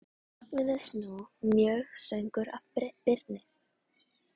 Mögnuðust nú mjög sögur af Birni.